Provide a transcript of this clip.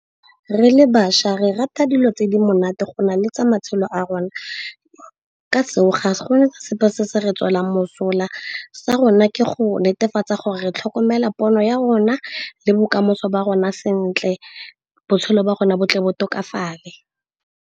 Re le bašwa re rata dilo tse di monate go nale tsa matshelo a rona. Ka seo, go na sepe se se re tswela mosola. Sa rona ke go netefatsa gore tlhokomela pono ya rona le bokamoso ba rona sentle, botshelo ba rona bo tle bo tlhokafale.